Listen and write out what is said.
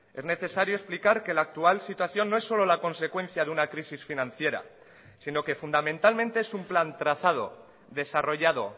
es necesario explicar que la actual situación no es solo la consecuencia de una crisis financiera sino que fundamentalmente es un plan trazado desarrollado